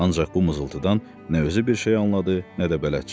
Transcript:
Ancaq bu mızıldidan nə özü bir şey anladı, nə də bələdçi.